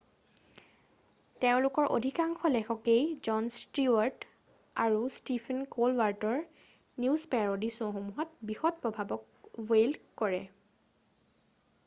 তেওঁলোকৰ অধিকাংশ লেখকেই জন ষ্টিৱাৰ্ট আৰু ষ্টিফেন ক'লবাৰ্টৰৰ নিউজ পেৰ'ডি শ্ব'সমূহত বৃহৎ প্ৰভাৱক ৱেইল্ড কৰে৷